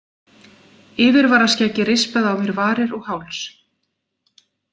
Yfirvaraskeggið rispaði á mér varir og háls.